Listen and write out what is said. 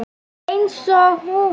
Einsog hún.